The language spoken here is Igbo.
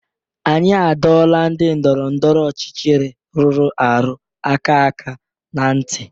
Anyị adọọla ndị ndọrọ ndọrọ ọchịchị rụrụ arụ aka aka na ntị!